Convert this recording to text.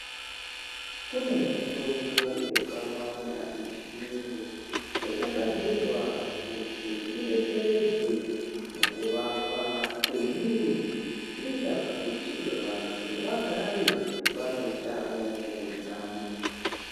Kune mitombo yakawanda yechiyungu, yakagadzirwa kuti idetseredze mukuvakwa kwemwiri, zvinoita kuti vanthu vagare vane utano huri nani.